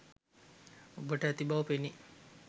ඔබට ඇති බව පෙනේ